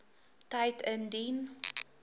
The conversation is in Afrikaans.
tyd indien